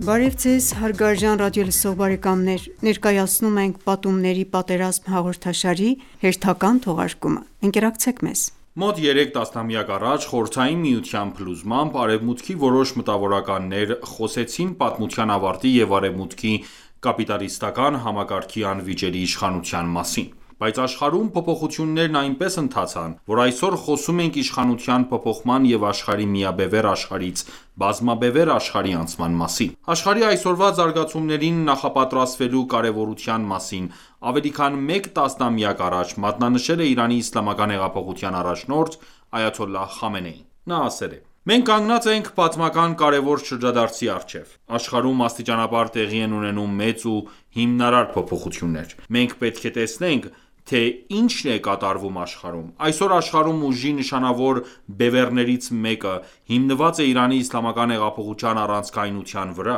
Բարև Ձեզ հարգարժան ռադիոլսող բարեկամներ: Ներկայացնում ենք «Պատումների պատերազմ» հաղորդաշարի հերթական թողարկումը: Ընկերակցեք մեզ: Մոտ 3 տասնամյակ առաջ՝ Խորհրդային Միության փլուզմամբ, Արևմուտքի որոշ մտավորականներ խոսեցին պատմության ավարտի և Արևմուտքի կապիտալիստական համակարգի անվիճելի իշխանության մասին։ Բայց աշխարհում փոփոխություններն այնպես ընթացան, որ այսօր խոսում ենք իշխանության փոփոխման և աշխարհի միաբևեռ աշխարհից բազմաբևեռ աշխարհի անցման մասին։ Աշխարհի այսօրվա զարգացումներին նախապատրաստվելու կարևորության մասին ավելի քան մեկ տասնամյակ առաջ մատնանշել է Իրանի իսլամական հեղափոխության առաջնորդ Այաթոլլահ Խամենեին։ Նա ասել է.«Մենք կանգնած ենք պատմական կարևոր շրջադարձի առջև։ Աշխարհում աստիճանաբար տեղի են ունենում մեծ ու հիմնարար փոփոխություններ։ Մենք պետք է տեսնենք, թե ինչ է կատարվում աշխարհում։ Այսօր աշխարհում ուժի նշանավոր բևեռներից մեկը հիմնված է Իրանի իսլամական հեղափոխության առանցքայնության վրա,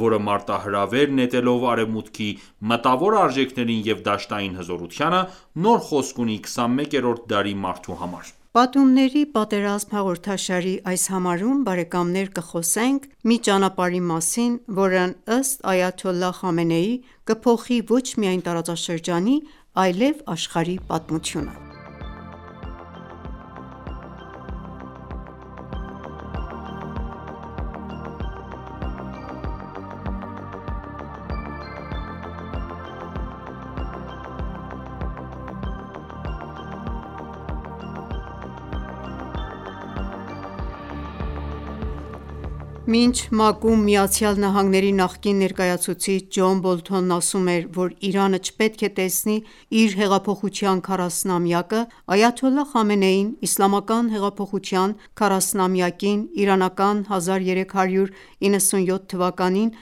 որը մարտահրավեր նետելով Արևմուտքի մտավոր արժեքներին և դաշտային հզորությանը, նոր խոսք ունի 21-րդ դարի մարդու համար: «Պատումների պատերազմ» հաղորդաշարի այս համարում կխոսենք մի ճանապարհի մասին, որն, ըստ Այաթոլլահ Խամենեիի, կփոխի ոչ միայն տարածաշրջանի, այլև աշխարհի պատմությունը։ Մինչ ՄԱԿ-ում Միացյալ Նահանգների նախկին ներկայացուցիչ Ջոն Բոլթոնն ասում էր, որ Իրանը չպետք է տեսնի իր հեղափոխության 40-ամյակը, Այաթոլլահ Խամենեին Իսլամական հեղափոխության 40-ամյակին իրանական 1397 թվականին(2018)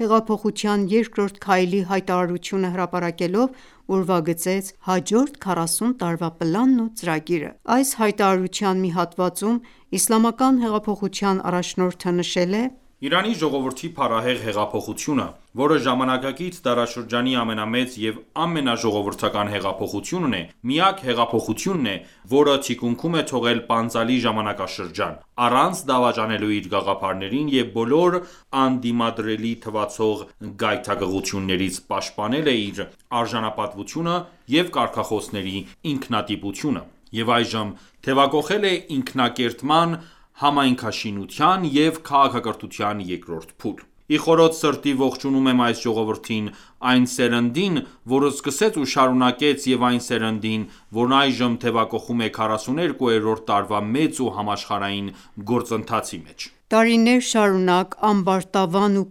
հեղափոխության երկրորդ քայլի հայտարարությունը հրապարակելով ուրվագծեց հաջորդ 40 տարվա պլանն ու ծրագիրը։ Այս հայտարարության մի հատվածում Իսլամական հեղափոխության առաջնորդը նշել է. «Իրանի ժողովրդի փառահեղ հեղափոխությունը, որը ժամանակակից դարաշրջանի ամենամեծ և ամենաժողովրդական հեղափոխությունն է, միակ հեղափոխությունն է, որը թիկունքում է թողել պանծալի ժամանակաշրջան՝ առանց դավաճանելու իր գաղափարներին և բոլոր անդիմադրելի թվացող գայթակղություններից պաշտպանել է իր արժանապատվությունը և կարգախոսների ինքնատիպությունը, և այժմ թևակոխել է ինքնակերտման, համայնքաշինության և քաղաքակրթության երկրորդ փուլ: Ի խորոց սրտի ողջունում եմ այս ժողովրդին, այն սերնդին, որ սկսեց ու շարունակեց և այն սերնդին, որն այժմ թեւակոխում է 42-րդ տարվա մեծ ու համաշխարհային գործընթացի մեջ»։ Տարիներ շարունակ ամբարտավան ու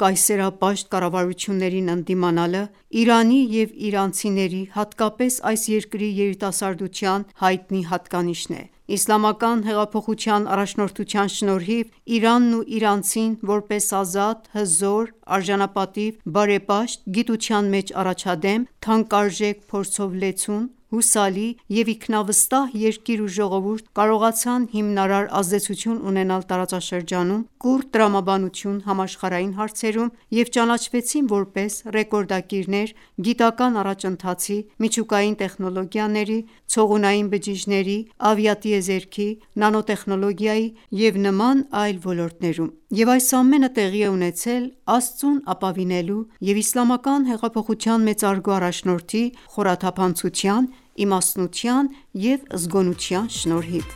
կայսերապաշտ կառավարություններին ընդդիմանալը Իրանի և իրանցիների, հատկապես այս երկրի երիտասարդության հայտնի հատկանիշն է։ Իսլամական հեղափոխափոխության առաջնորդության շնորհիվ Իրանն ու իրանցին որպես ազատ, հզոր, արժանապատիվ, բարեպաշտ, գիտության մեջ առաջադեմ, թանկարժեք փորձով լեցուն, հուսալի և ինքնավստահ երկիր ու ժողովուրդ, կարողացան հիմնարար ազդեցություն ունենալ տարածաշրջանում, կուռ տրամաբանություն` համաշխարհային հարցերում, և ճանաչվեցին, որպես ռեկորդակիրներ՝ գիտական առաջընթացի, միջուկային տեխնոլոգիաների, ցողունային բջիջների, ավիատիեզերքի, նանոտեխնոլոգիայի և նման այլ ոլորտներում: Եվ այս ամենը տեղի է ունեցել Աստծուն ապավինելու և Իսլամական հեղափոխության մեծարգո առաջնորդի խորաթափանցության, իմաստության և զգոնության շնորհիվ: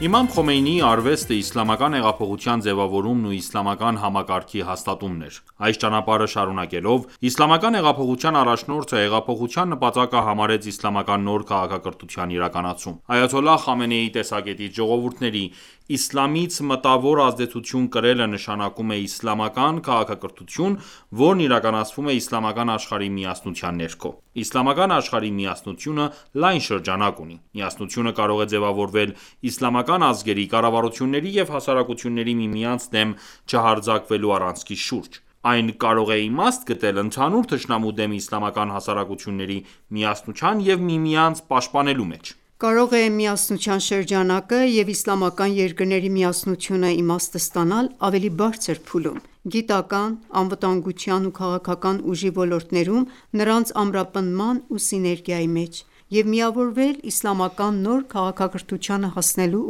Իմամ Խոմեյնիի արվեստը իսլամական հեղափոխության ձևավորումն ու իսլամական համակարգի հաստատումն էր։ Այս ճանապարհը շարունակելով՝ Իսլամական հեղափոխության առաջնորդը հեղափոխության նպատակը համարեց իսլամական նոր քաղաքակրթության իրականացում։ Այաթոլլահ Խամենեիի տեսակետից ժողովուրդների՝ իսլամից մտավոր ազդեցություն կրելը նշանակում է իսլամական քաղաքակրթություն, որն իրականացվում է իսլամական աշխարհի միասնության ներքո։ Իսլամական աշխարհի միասնությունը լայն շրջանակ ունի։ Միասնությունը կարող է ձևավորվել իսլամական ազգերի, կառավարությունների և հասարակությունների միմյանց դեմ չհարձակվելու առանցքի շուրջ։ Այն կարող է իմաստ գտնել ընդհանուր թշնամու դեմ իսլամական հասարակությունների միասնության և միմյանց պաշտպանելու մեջ: Կարող է միասնության շրջանակը և իսլամական երկրների միասնությունն իմաստ ստանալ ավելի բարձր փուլում՝ գիտական, անվտանգության ու քաղաքական ուժի ոլորտներում նրանց ամրապնդման ու սիներգիայի մեջ և միավորվել իսլամական նոր քաղաքակրթությանը հասնելու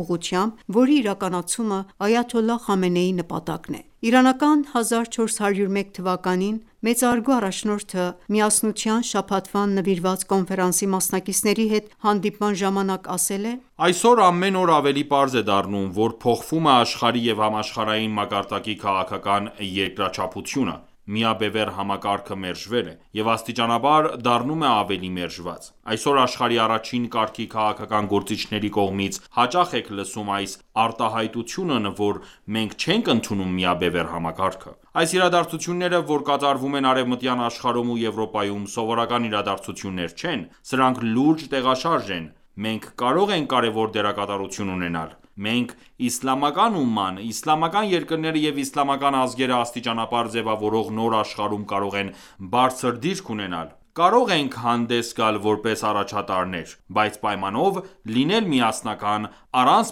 ուղղությամբ, որի իրականացումը Այաթոլլահ Խամենեիի նպատակն է։ Իրանական 1401 թվականին մեծարգո առաջնորդը Միասնության շաբաթվան նվիրված կոնֆերանսի մասնակիցների հետ հանդիպման ժամանակ ասել է,- «Այսօր ամեն օր ավելի պարզ է դառնում, որ փոխվում է աշխարհի և համաշխարհային մակարդակի քաղաքական երկրաչափությունը..․ միաբևեռ համակարգը մերժվել է... և աստիճանաբար... դառնում է ավելի մերժված։ Այսօր աշխարհի առաջին կարգի քաղաքական գործիչների կողմից հաճախ եք լսում այս արտահայտությունն, որ «մենք չենք ընդունում միաբևեռ համակարգը»...։ Այս իրադարձությունները, որ կատարվում են արևմտյան աշխարհում ու Եվրոպայում, սովորական իրադարձություններ չեն։ Սրանք լուրջ տեղաշարժ են... մենք կարող ենք կարևոր դերակատարություն ունենալ: Մենք՝ իսլամական ումման, իսլամական երկրները և իսլամական ազգերը, աստիճանաբար ձևավորվող նոր աշխարհում կարող ենք բարձր դիրք ունենալ, կարող ենք հանդես գալ որպես առաջատարներ, բայց պայմանով՝ լինել միասնական, առանց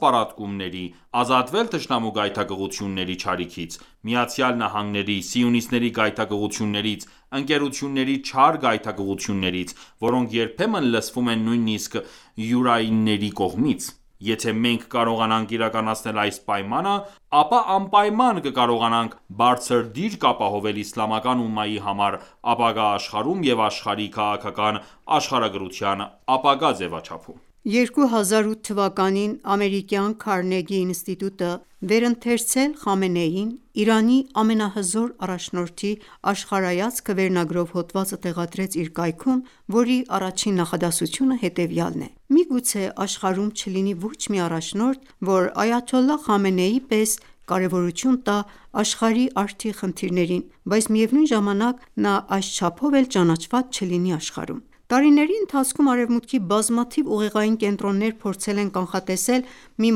պառակտումների, ազատվել թշնամու գայթակղությունների չարիքից, ԱՄՆ-ի, սիոնիստների գայթակղություններից, ընկերությունների չար գայթակղություններից, որոնք երբեմն լսվում են նույնիսկ յուրայինների կողմից... Եթե մենք կարողանանք իրականացնել այս պայմանը, ապա անպայման կկարողանանք բարձր դիրք ապահովել իսլամական ումմայի համար ապագա աշխարհում և աշխարհի քաղաքական աշխարհագրության ապագա ձևաչափում»։ 2008 թվականին ամերիկյան Քարնեգի ինստիտուտը «Վերընթերցել Խամենեիին՝ Իրանի ամենահզոր առաջնորդի աշխարհայացքը» վերնագրով հոդվածը տեղադրեց իր կայքում, որի առաջին նախադասությունը հետևյալն է՝ «Միգուցե աշխարհում չլինի ոչ մի առաջնորդ, որ Այաթոլլահ Խամենեի պես կարևորություն տա աշխարհի արդի խնդիրներին, բայց միևնույն ժամանակ նա այս չափով էլ ճանաչված չլինի աշխարհում: Տարիների ընթացքում Արևմուտքի բազմաթիվ ուղեղային կենտրոններ փորձել են կանխատեսել մի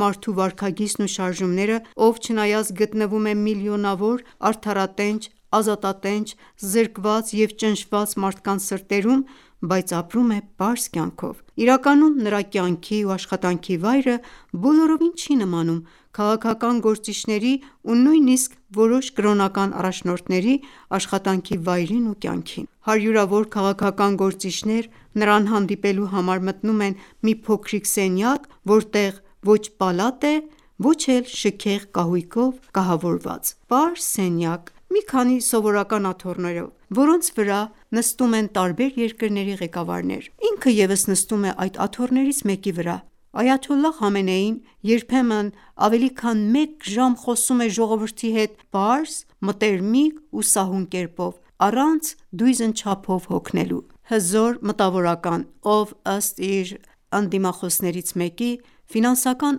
մարդու վարքագիծն ու շարժումները, ով չնայած գտնվում է միլիոնավոր արդարատենչ, ազատատենչ, զրկված և ճնշված մարդկանց սրտերում, բայց ապրում է պարզ կյանքով: Իրականում նրա կյանքի ու աշխատանքի վայրը բոլորովին չի նմանում քաղաքական գործիչների ու նույնիսկ որոշ կրոնական առաջնորդների աշխատանքի վայրին ու կյանքին։ Հարյուրավոր քաղաքական գործիչներ նրան հանդիպելու համար մտնում են մի փոքրիկ սենյակ, որտեղ ոչ պալատ է, ոչ էլ շքեղ կահույքով կահավորված։ Պարզ սենյակ մի քանի սովորական աթոռներով, որոնց վրա նստում են տարբեր երկրների ղեկավարներ։ Ինքն ևս նստում է այդ աթոռներից մեկի վրա։ Այաթոլլահ Խամենեին երբեմն ավելի քան մեկ ժամ խոսում է ժողովրդի հետ պարզ, մտերմիկ ու սահուն կերպով, առանց դույզն չափով հոգնելու։ Հզոր մտավորական, ով, ըստ իր ընդդիմախոսներից մեկի, ֆինանսական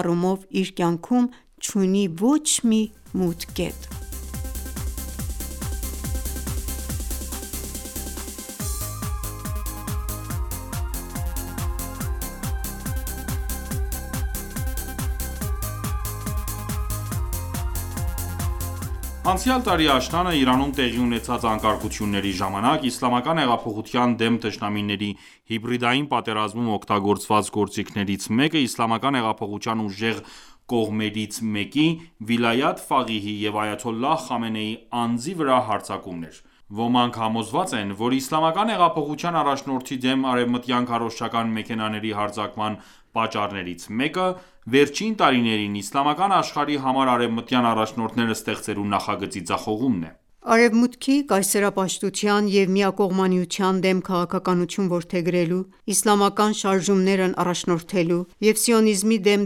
առումով իր կյանքում չունի ոչ մի մութ կետ։ Անցյալ տարի աշնանը Իրանում տեղի ունեցած անկարգությունների ժամանակ Իսլամական հեղափոխության դեմ թշնամիների հիբրդիային պատերազմում օգտագործված գործիքներից մեկը իսլամական հեղափոխության ուժեղ կողմերից մեկի՝ Վիլայաթ ֆաղիհի և Այաթոլլահ Խամենեիի անձի վրա հարձակումն էր։ Ոմանք համոզված են, որ Իսլամական հեղափոխության առաջնորդի դեմ արևմտյան քարոզչական մեքենաների հարձակման պատճառներից մեկը վերջին տարիներին իսլամական աշխարհի համար արևմտյան առաջնորդներ ստեղծելու նախագծի ձախողումն է։ Արևմուտքի կայսերապաշտության և միակողմանիության դեմ քաղաքականություն որդեգրելու, իսլամական շարժումներն առաջնորդելու և սիոնիզմի դեմ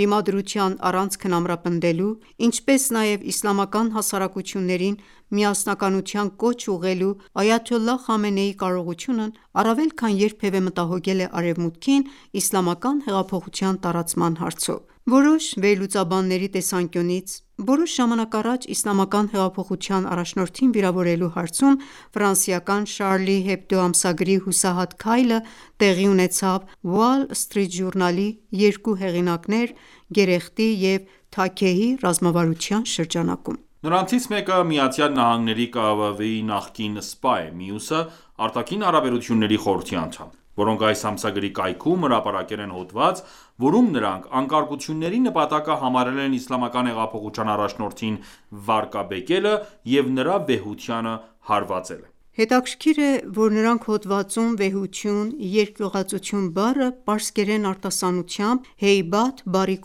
դիմադրության առանցքն ամրապնդելու, ինչպես նաև իսլամական հասարակություններին միասնության կոչ ուղղելու Այաթոլլահ Խամենեիի կարողությունն առավել քան երբևէ մտահոգել է Արևմուտքին իսլամական հեղափոխության տարածման հարցով։ Որոշ վերլուծաբանների տեսանկյունից՝ որոշ ժամանակ առաջ Իսլամական հեղափոխության առաջնորդին վիրավորելու հարցում ֆրանսիական Charlie Hebdo ամսագրի հուսահատ քայլը տեղի ունեցավ Wall Street Journal-ի երկու հեղինակներ՝ Գերեխտի և Թաքեյհի ռազմավարության շրջանակում։ Նրանցից մեկը ԱՄՆ-ի ԿՀՎ-ի նախկին սպա է, մյուսը՝ Արտաքին հարաբերությունների խորհրդի անդամ, որոնք այս ամսագրի կայքում հրապարակել են հոդված, որում նրանք անկարգությունների նպատակը համարել են Իսլամական հեղափոխության առաջնորդին վարկաբեկելը և նրա վեհությանը հարվածելը։ Հետաքրքիր է, որ նրանք հոդվածում վեհություն, երկյուղածություն բառը պարսկերեն արտասանությամբ «Հեյբաթ» բառի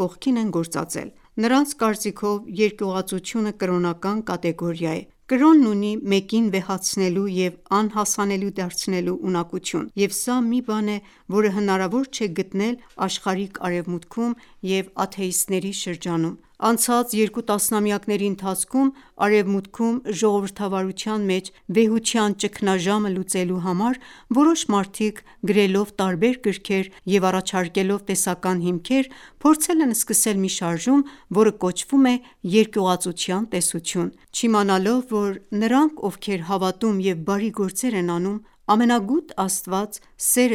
կողքին են գործածել։ Նրանց կարծիքով՝ Երկյուղածությունը կրոնական կատեգորիա է։ Կրոնն ունի մեկին վեհացնելու և անհասանելի դարձնելու ունակություն: Եվ սա մի բան է, որը հնարավոր չէ գտնել աշխարհիկ Արևմուտքում և աթեիստների շրջանում: Անցած երկու տասնամյակների ընթացքում Արևմուտքում ժողովրդավարության մեջ վեհության ճգնաժամը լուծելու համար որոշ մարդիկ գրելով տարբեր գրքեր և առաջարկելով տեսական հիմքեր, փորձել են սկսել մի շարժում, որը կոչվում է երկյուղածության տեսություն, չիմանալով որ. «Նրանք, ովքեր հավատում և բարի գործեր են անում, ամենագութ Աստված, սեր է